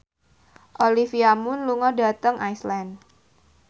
Olivia Munn lunga dhateng Iceland